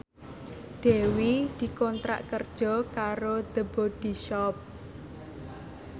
Dewi dikontrak kerja karo The Body Shop